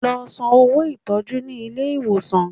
Lọ san owó ìtọ́jú ní ilé ìwòsàn!